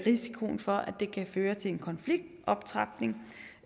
risikoen for at det kan føre til en konfliktoptrapning